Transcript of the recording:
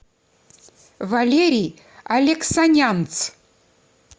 валерий алексанянц